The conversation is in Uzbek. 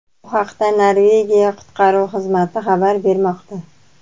Bu haqda Norvegiya qutqaruv xizmati xabar bermoqda.